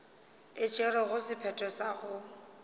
e tšerego sephetho sa go